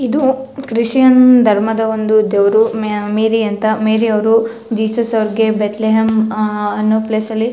ಇದು ಕ್ರಿಶ್ಚಿಯನ್ ಧರ್ಮದ ಒಂದು ದೇವ್ರು ಮೇ ಮೇರಿ ಅಂತ ಮೇರಿ ಅವ್ರು ಜೀಸಸ್ ಅವ್ರಿಗೆ ಬೇತ್ಲೆಹಂ ಅಹ್ ಅನ್ನೋ ಪ್ಲೇಸ್ ಅಲ್ಲಿ --